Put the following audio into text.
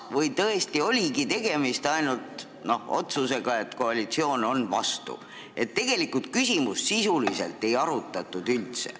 Või tõesti oligi tegemist ainult otsusega, et koalitsioon on vastu, ja küsimust sisuliselt üldse ei arutatud?